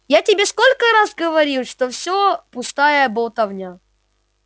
я тебе сколько раз говорил что всё пустая болтовня